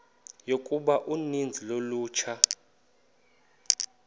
yokuba uninzi lolutsha